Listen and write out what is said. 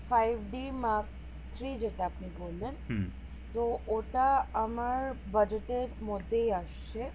five d mark three যেটা আপনি বললেন তো ওটা আমার budget এর মধ্যেই আছে